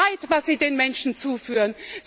Das ist Leid, was Sie den Menschen zufügen.